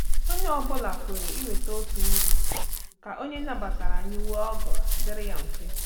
Onye ọ bụla kweere iweta otu nri ka onye nabatara anyị nwee ọgọ dịrị ya mfe.